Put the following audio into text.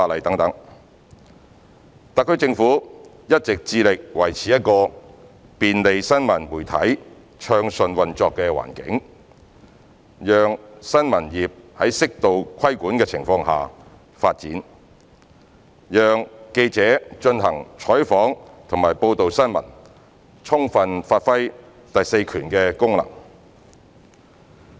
特區政府一直致力維持一個便利新聞媒體暢順運作的環境，讓新聞業在適度規管的情況下發展，讓記者進行採訪及報道新聞，充分發揮第四權的功能。